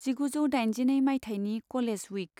जिगुजौ दाइनजिनै मायथाइनि कलेज उइक।